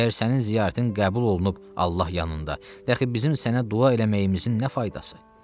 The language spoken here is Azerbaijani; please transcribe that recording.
Əgər sənin ziyarətin qəbul olunub Allah yanında, de əxi bizim sənə dua eləməyimizin nə faydası?